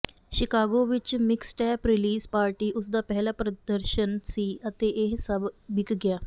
Chicago ਵਿੱਚ mixtape release party ਉਸ ਦਾ ਪਹਿਲਾ ਪ੍ਰਦਰਸ਼ਨ ਸੀ ਅਤੇ ਇਹ ਸਭ ਵਿੱਕ ਗਇਆ